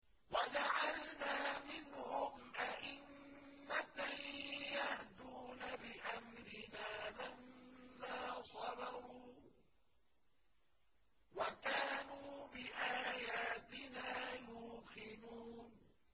وَجَعَلْنَا مِنْهُمْ أَئِمَّةً يَهْدُونَ بِأَمْرِنَا لَمَّا صَبَرُوا ۖ وَكَانُوا بِآيَاتِنَا يُوقِنُونَ